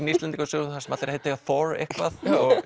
Íslendingasögunum þar sem allir heita Thor eitthvað